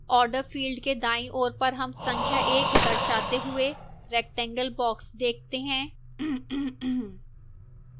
order field के दाईं ओर पर हम संख्या 1 दर्शाते हुए rectangle box देखते हैं